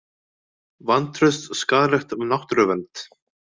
Vantraust skaðlegt náttúruvernd